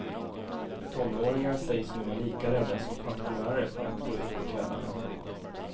Tonåringar sägs nu vara lika rädda som pensionärer för att gå ut på kvällarna.